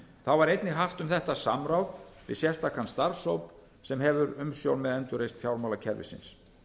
þá var einnig haft um þetta samráð við sérstakan starfshóp sem hefur umsjón með endurreisn fjármálakerfisins